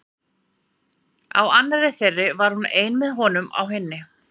Á annarri þeirra var hún ein en með honum á hinni.